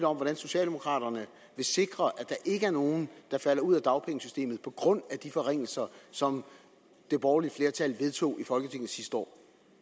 om hvordan socialdemokraterne vil sikre at der ikke er nogen der falder ud af dagpengesystemet på grund af de forringelser som det borgerlige flertal vedtog i folketinget sidste år